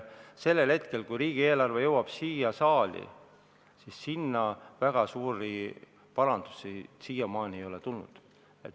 Sellest hetkest, kui riigieelarve on jõudnud siia saali, väga suuri parandusi ei ole tulnud.